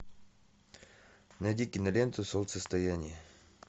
найди киноленту солнцестояние